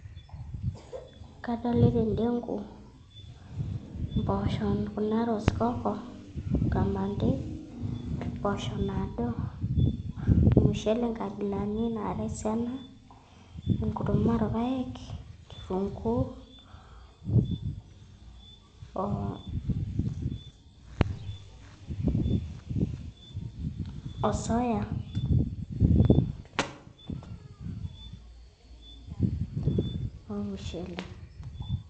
Kadolita endengu, mpoosho kuna rosecoco, kamande, mpoosho naado, olmushele nkabilaritin naara esiana, enkurma olpaek, kitunguu o soya olmushele.